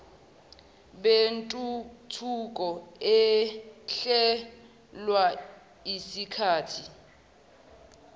bentuthuko ehlelelwa isikathi